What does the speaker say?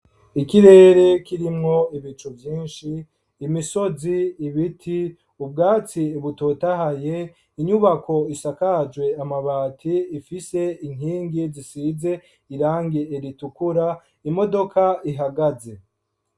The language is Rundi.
Ikirere kirimwo ibicu vyinshi, imisozi, ibiti, ubwatsi butotahaye, inyubako isakajwe amabati ifise inkingi zisize irangi ritukura, imodoka ihagaze.